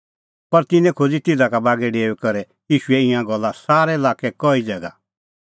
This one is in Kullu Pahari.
पर तिन्नैं खोज़ी तिधा बागै डेऊई करै ईशूए ईंयां गल्ला सारै लाक्कै कई ज़ैगा